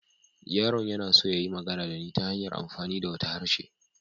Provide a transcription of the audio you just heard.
Yaron yana so ya yi magana da ni ta hanyar amfani da wata harshe.